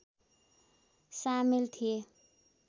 सामेल थिए